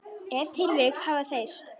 Ef til vill hafa þeir.